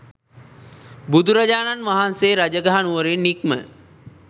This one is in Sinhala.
බුදුරජාණන් වහන්සේ රජගහ නුවරින් නික්ම